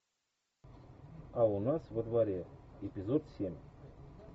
а у нас во дворе эпизод семь